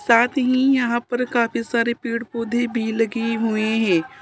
साथ ही यहां पर काफी सारे पेड़ पौधे भी लगे हुए हैं।